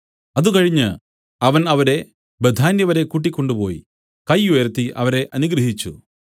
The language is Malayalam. അതുകഴിഞ്ഞ് അവൻ അവരെ ബേഥാന്യ വരെ കൂട്ടിക്കൊണ്ടുപോയി കൈ ഉയർത്തി അവരെ അനുഗ്രഹിച്ചു